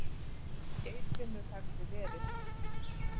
Geirfinnur hefði verið.